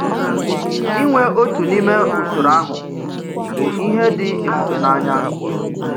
Ịnwe òtù n’ime usoro ahụ bụ ihe dị ebùbè n’anya.